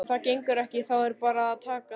Ef það gengur ekki þá er bara að taka því.